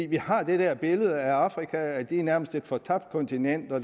vi har det der billede af afrika som et nærmest fortabt kontinent hvor